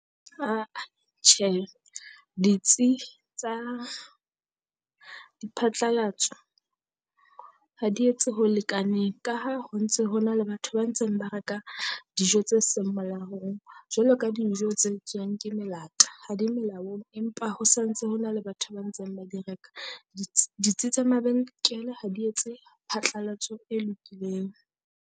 Ah-ah tjhe ditsi tsa diphatlalatso ha di etse ho lekaneng ka ha ho ntse ho na le batho ba ntseng ba re ka dijo tse seng molaong. Jwalo ka dijo tse etswuang ke melata ha di melaong, empa ho santse hona le batho ba ntseng ba di reka. Ditsi ditsi tsa mabenkele ha di etse phatlalatso e lokileng.